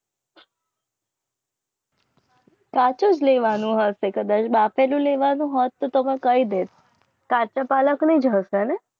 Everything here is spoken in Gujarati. પાછળ લેવાનું અસે બફાવેને લેવાનું હતું તેમાં કઈ ડેર કાચા પાલક નહિ ઝડતા હૈ ના